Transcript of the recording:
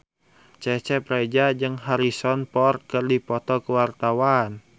Cecep Reza jeung Harrison Ford keur dipoto ku wartawan